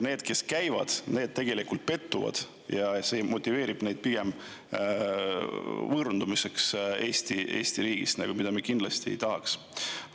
Need, kes käivad, tegelikult pettuvad ja on pigem motiveeritud Eesti riigist võõranduma – seda me kindlasti ei tahaks.